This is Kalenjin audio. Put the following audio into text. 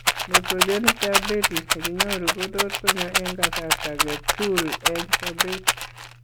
Nephrogenic diabetes nekinyoruu kotot konyo eng' kasartagetul eng' sobeet